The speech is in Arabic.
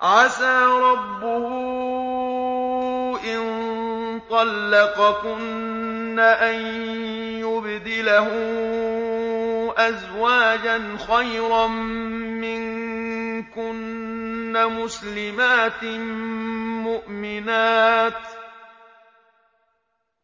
عَسَىٰ رَبُّهُ إِن طَلَّقَكُنَّ أَن يُبْدِلَهُ أَزْوَاجًا خَيْرًا مِّنكُنَّ